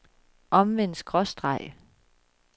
omvendt skråstreg